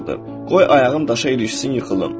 Qoy ayağım daşa ilişsin yıxılım.